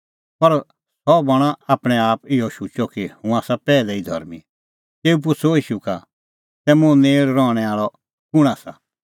पर सह बणअ आपणैंआप इहअ शुचअ कि हुंह आसा पैहलै ई धर्मीं तेऊ पुछ़अ ईशू का तै मुंह नेल़ रहणैं आल़अ कुंण आसा